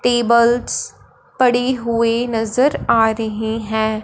Tables पड़ी हुए नजर आ रहे है।